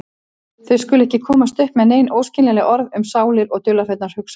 Þau skulu ekki komast upp með nein óskiljanleg orð um sálir og dularfullar hugsanir.